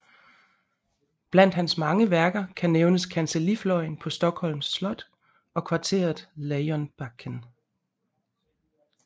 Blandt hans mange værker kan nævnes kancellifløjen på Stockholms Slot og kvarteret Lejonbacken